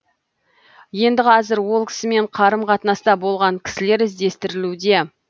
енді қазір ол кісімен қарым қатынаста болған кісілер іздестірілуде